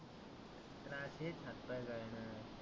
त्रास हेच हात पाय गळने